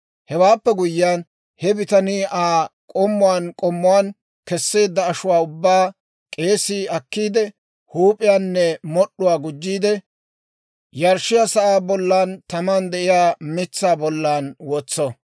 Hewaappe guyyiyaan, he bitanii Aa k'ommuwaan k'ommuwaan keseedda ashuwaa ubbaa k'eesii akkiide, huup'iyaanne mod'd'uwaa gujjiide, yarshshiyaa sa'aa bollan taman de'iyaa mitsaa bollan wotso.